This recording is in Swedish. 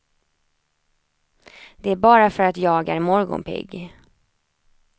Det är bara för att jag är morgonpigg.